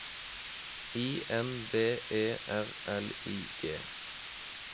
I N D E R L I G